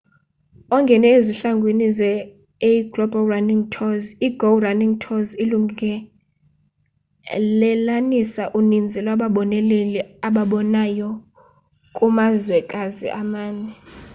ongene ezihlangwini zeaglobal running tours i-go running tours ilungelelanisa uninzi lwababoneleli ababonayo kumazwekazi amane